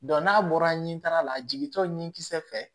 n'a bɔra nin taala la a jigintɔ nin kisɛ fɛ